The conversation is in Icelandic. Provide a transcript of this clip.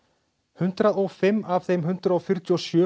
hundrað og fimm af þeim hundrað fjörutíu og sjö